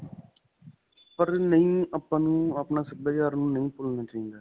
ਪਰ ਨਹੀਂ, ਆਪਾਂ ਨੂੰ ਆਪਣਾ ਸਭਿਆਚਾਰ ਨਹੀਂ ਭੁਲਣਾ ਚਾਹਿਦਾ.